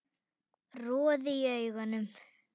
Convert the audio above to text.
Roði í augum